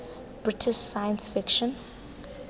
british science fiction